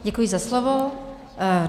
Děkuji za slovo.